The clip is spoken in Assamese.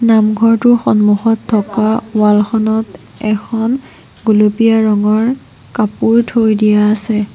নামঘৰটোৰ সন্মুখত থকা ৱাল খনত এখন গুলপীয়া ৰঙৰ কাপোৰ থৈ দিয়া আছে।